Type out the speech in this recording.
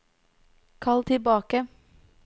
kall tilbake